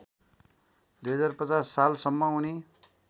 २०५० सालसम्म उनी